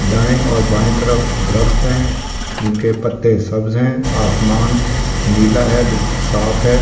दाएं और बाएं तरफ दरख़्त हैं जिनके पत्ते सब्ज हैं आसमान नीला है बिल्कुल साफ है।